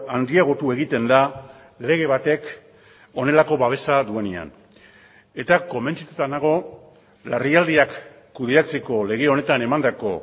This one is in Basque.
handiagotu egiten da lege batek honelako babesa duenean eta konbentzituta nago larrialdiak kudeatzeko lege honetan emandako